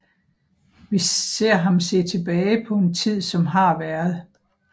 Vi ser ham se tilbage på en tid som har været